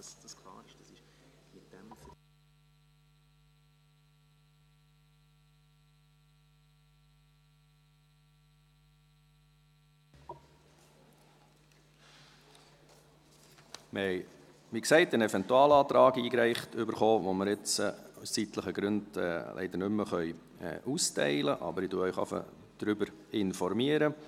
Wir haben, wie gesagt, einen Eventualantrag erhalten, den wir Ihnen aus zeitlichen Gründen nicht austeilen können, aber ich informiere Sie schon mal darüber.